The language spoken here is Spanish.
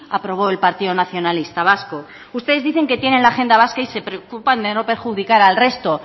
aprobó el partido nacionalista vasco ustedes dicen que tienen la agenda vasca y se preocupan de no perjudicar al resto